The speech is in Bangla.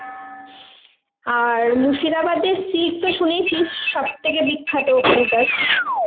আর মুর্শিদাবাদ এর silk তো শুনেছিস সব থেকে বিখ্যাত ওখানকার.